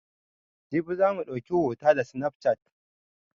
Jibi za mu ɗauki hota da sinafcat